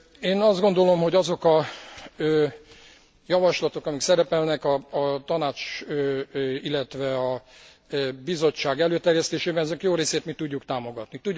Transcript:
Én azt gondolom, hogy azok a javaslatok, amik szerepelnek a Tanács, illetve a Bizottság előterjesztésében, ezek jó részét mi tudjuk támogatni.